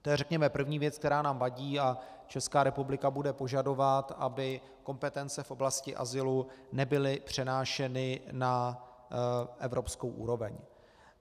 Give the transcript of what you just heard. To je, řekněme, první věc, která nám vadí, a Česká republika bude požadovat, aby kompetence v oblasti azylu nebyly přenášeny na evropskou úroveň.